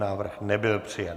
Návrh nebyl přijat.